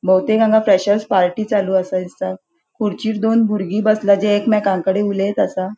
बहुतेक हांगा freshers party चालू असा दिसता खुर्चीर दोन भूरगी बसला जे एकमेकांकडे उलयेत असा.